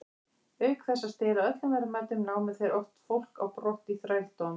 Auk þess að stela öllum verðmætum, námu þeir oft fólk á brott í þrældóm.